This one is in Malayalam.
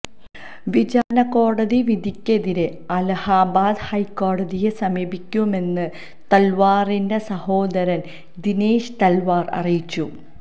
വിചാരണക്കോടതിവിധിക്കെതിരെ അലഹാബാദ് ഹൈക്കോടതിയെ സമീപിക്കുമെന്ന് തല്വാറിന്റെ സഹോദരന് ദിനേശ് തല്വാര് അറിയിച്ചു